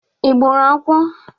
I gburu agwo?